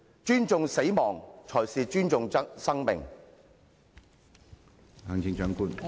尊重死亡，才是尊重生命。